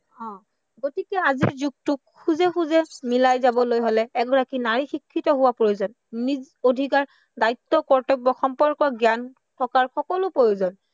অ গতিকে আজিৰ যুগটোত খোজে খোজে মিলাই যাবলৈ হলে এগৰাকী নাৰী শিক্ষিত হোৱা প্ৰয়োজন, নিজ অধিকাৰ, দায়িত্ব, কৰ্তব্য় সম্পৰ্কৰ জ্ঞান সকলো প্ৰয়োজন